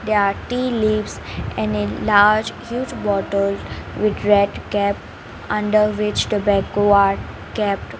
there are tea leaves and a large huge bottle with red cap under which are kept .